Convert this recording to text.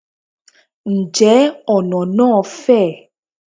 Ǹjẹ́ ọ̀nà náà fẹ̀?